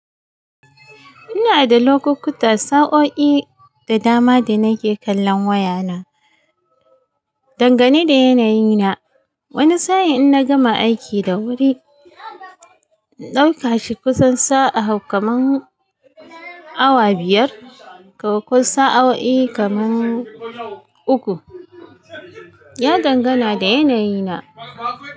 Ina da lokukuta, sa'o'i da dama da nake kallon wayana, dangane da yanayi na. Wani sa'in in na gama aiki da wuri, in ɗauka shi kusan sa'a hudu, kamar awa biyar ko sa'o'i kamar uku. Ya dangana da yanayi na.